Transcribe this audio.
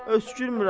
Öskürmürəm.